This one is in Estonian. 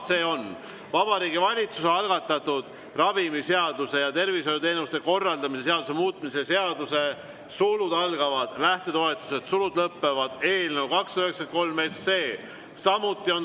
See on Vabariigi Valitsuse algatatud ravimiseaduse ja tervishoiuteenuste korraldamise seaduse muutmise seaduse eelnõu 293.